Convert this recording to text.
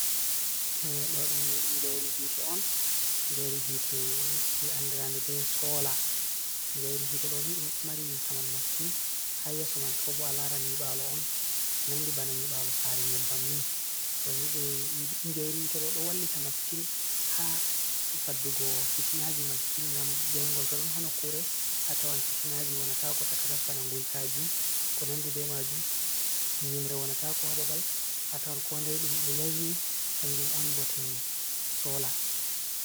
Ɗo ɗum njairi hite on njairi hite andirade be sola, njairi hite ɗo ni ɗum ɗo mari saman masitin, ha yeso man to bo a laran nyibalo on nandi bana nyibalo sare nyebbam ni to njairi hite ɗo ɗo wallita masitin ha faddugo fitinaji masitin ngam njaingol to don ha nokkure atawan fitinaji wonata ko takanas bana nguikaji, ko nandi be majum nyimre wonatako ha babal atawan kodai ɗum do yaini kanjum on bote sola.